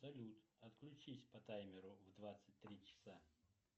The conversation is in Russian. салют отключись по таймеру в двадцать три часа